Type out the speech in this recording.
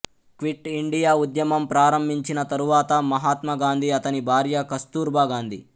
quit India ఉద్యమం ప్రారంభించిన తరువాత మహాత్మా గాంధీ అతని భార్య కస్తూర్బా గాంధీ